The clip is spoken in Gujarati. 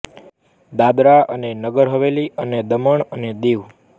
દાદરા અને નગર હવેલી અને દમણ અને દીવ